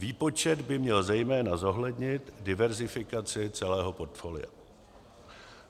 Výpočet by měl zejména zohlednit diversifikaci celého portfolia.